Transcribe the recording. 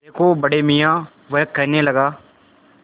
देखो बड़े मियाँ वह कहने लगा